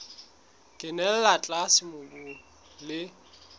e kenella tlase mobung le